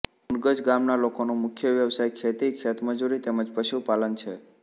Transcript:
મુનગજ ગામના લોકોનો મુખ્ય વ્યવસાય ખેતી ખેતમજૂરી તેમ જ પશુપાલન છે